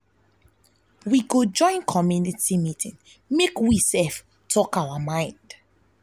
we go join community meeting make we talk our mind.